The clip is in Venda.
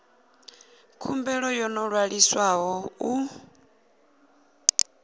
khumbelo yo no ṅwaliswaho u